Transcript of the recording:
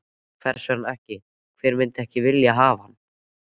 Hvers vegna ekki, hver myndi ekki vilja hafa hann?